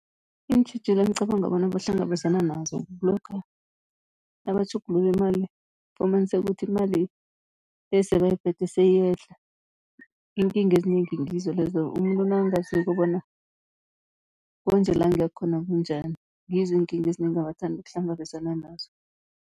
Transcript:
Iintjhijilo engicabanga bona bahlangabezana nazo, kulokha nabatjhugulula imali fumaniseka ukuthi imali esebayiphethe seyiyehla. Iinkinga ezinengi ngizo lezo, umuntu nakangaziko bona konje la ngiyakhona kunjani, ngizo iinkinga ezinengi abathanda ukuhlangabezana nazo..